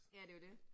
Ja, det jo det